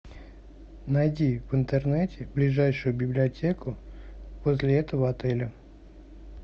найди в интернете ближайшую библиотеку возле этого отеля